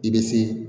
I bɛ se